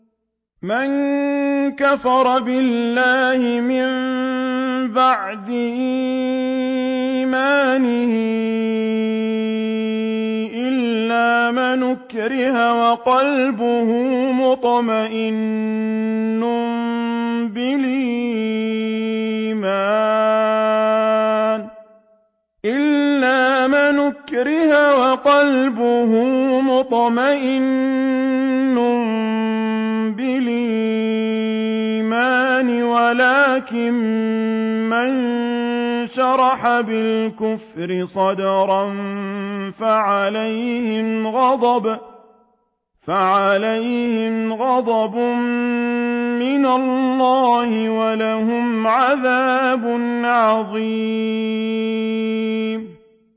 مَن كَفَرَ بِاللَّهِ مِن بَعْدِ إِيمَانِهِ إِلَّا مَنْ أُكْرِهَ وَقَلْبُهُ مُطْمَئِنٌّ بِالْإِيمَانِ وَلَٰكِن مَّن شَرَحَ بِالْكُفْرِ صَدْرًا فَعَلَيْهِمْ غَضَبٌ مِّنَ اللَّهِ وَلَهُمْ عَذَابٌ عَظِيمٌ